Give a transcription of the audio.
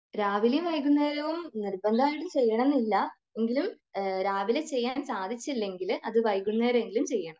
രാവിലെയും വൈകുന്നേരവും നിർബന്ധമായിട്ട് ചെയ്യണമെന്നില്ല. എങ്കിലും രാവിലെ ചെയ്യാൻ സാധിച്ചില്ലെങ്കിൽ അത് വൈകുന്നേരം എങ്കിലും ചെയ്യുക